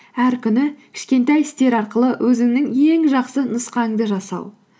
әр күні кішкентай істер арқылы өзіңнің ең жақсы нұсқаңды жасау